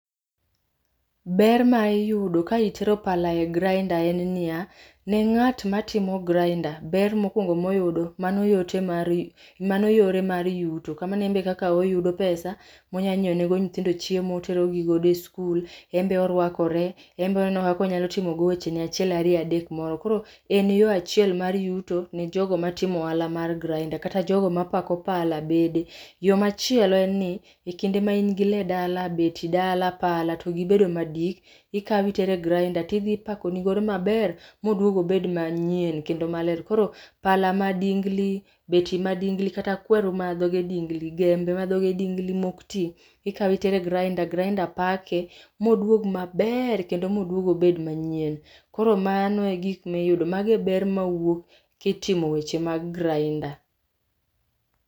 Ber maiyudo ka itero pala e grinder en niya, ne ngat matimo grinder, ber mokuongo moyudo mano yore mar yuto, kamano en be ekaka en be oyudo pesa ma onyalo nyiew ne go nyitindo chiemo, otero gi godo e skul, enbe orwakore, enbe oneno kaka onyalo timo wechene achiel, ariyo adek moro. Koro en yoo achiel mar yuto ne jogo matimo ohala mar grinder kata jogo mapako pala bende. Yoo machielo en ni,e kinde ma in gi lee dala, beti dala, pala to gibedo madik, ikaw otero e grinder to idhi ipako ni go maber modhi obed manyien kendo maler. Koro pala madingli, beti madingli kata kweri mage dingli, kwer madhoge dingli maok tii ikao otero e grinder, grinder pake moduog maber kendo moduog obed manyien. Koro mano e gik miyudo, mago e ber mawuok kitimo weche mag grinder